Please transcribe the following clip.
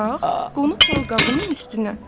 Bax, qonub balqabının üstünə.